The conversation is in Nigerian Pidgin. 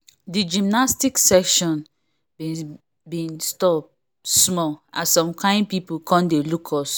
the gymnastic session been been stop small as some kin people come dey look us